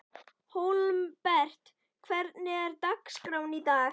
Hólmbert, hvernig er dagskráin í dag?